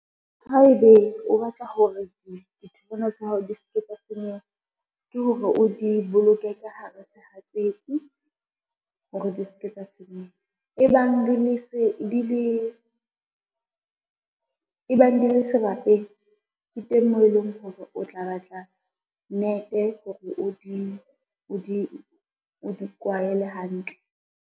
Haebe o batla hore ditholwana tsa hao di se ke tsa senyeha, ke hore o di boloke ka hara sehatsetsi hore di ske tsa senyeha. E bang di le serapeng, ke teng moo e leng hore o tla batla nete hore o di kwaele hantle.